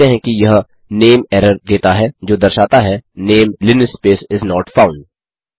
हम देखते हैं कि यह नमीरर देता है जो दर्शाता है name linspace is not found